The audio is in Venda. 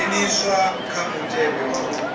dzheniswa kha mutevhe wa u